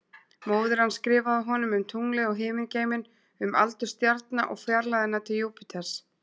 Móðir hans skrifaði honum um tunglið og himingeiminn, um aldur stjarna og fjarlægðina til Júpiters.